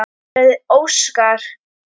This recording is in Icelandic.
sagði Óskar.